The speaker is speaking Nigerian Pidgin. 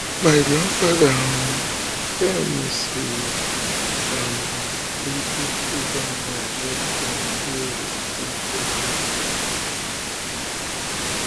my grandfather um tell me say um dey do freedom ride wen dem dey um do protest